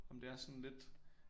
Om det er sådan lidt